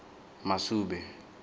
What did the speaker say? masube